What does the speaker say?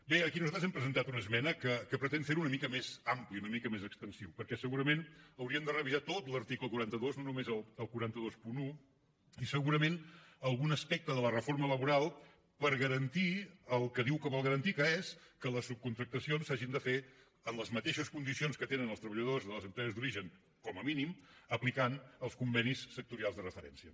bé aquí nosaltres hem presentat una esmena que pretén fer ho una mica més ampli una mica més extensiu perquè segurament hauríem de revisar tot l’article quaranta dos no només el quatre cents i vint un i segurament algun aspecte de la reforma laboral per garantir el que diu que vol garantir que és que les subcontractacions s’hagin de fer en les mateixes condicions que tenen els treballadors de les empreses d’origen com a mínim aplicant els convenis sectorials de referència